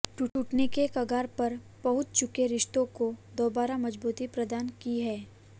टूटने के कगार पर पहुंच चुके रिश्तों को दोबारा मजबूती प्रदान की है